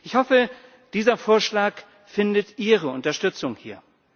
Ich hoffe, dieser Vorschlag findet Ihre Unterstützung hier.